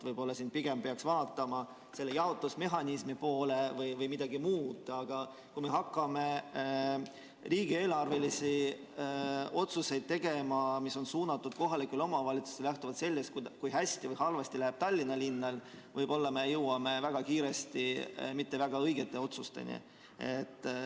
Võib-olla siin pigem peaks vaatama näiteks jaotusmehhanismi poole, aga kui me hakkame tegema kohalikele omavalitsustele suunatud riigieelarvelisi otsuseid lähtuvalt sellest, kui hästi või halvasti läheb Tallinna linnal, siis me võime jõuda väga kiiresti mitte väga õigete otsusteni.